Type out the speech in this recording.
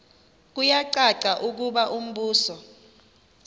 kuyacaca ukuba umbuso